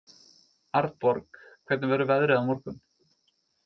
Arnborg, hvernig verður veðrið á morgun?